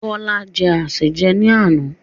Bọlá jẹ́ asèjẹ ni àná.